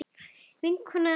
Vinkona að eilífu.